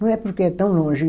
Não é porque é tão longe.